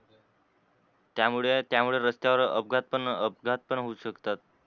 त्यामुळे त्यामुळे रस्त्यावर अपघात पण अपघात अपघात होवू शकतात.